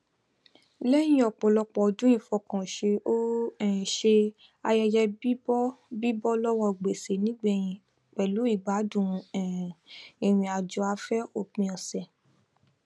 lẹyìn ọpọlọpọ ọdún ìfọkànṣe ó um ṣe ayẹyẹ bíbọ bíbọ lọwọ gbèsè nígbẹyìn pẹlú ìgbádùn um ìrìnàjòafẹ òpin ọsẹ